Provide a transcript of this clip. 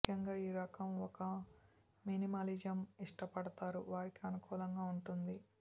ముఖ్యంగా ఈ రకం ఒక మినిమలిజం ఇష్టపడతారు వారికి అనుకూలంగా ఉంటుంది